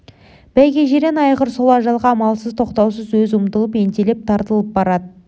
бәйге жирен айғыр сол ажалға амалсыз тоқтаусыз өзі ұмтылып ентелеп тартылып барады